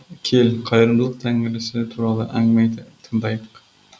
кел қайырымдылық тәңірісі туралы әңгіме айта тыңдайық